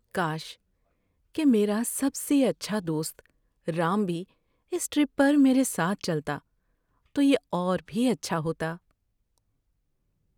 کاش کہ میرا سب سے اچھا دوست رام بھی اس ٹرپ پر میرے ساتھ چلتا۔ تو یہ اور بھی اچھا ہوتا۔